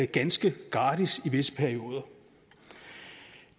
ganske gratis i visse perioder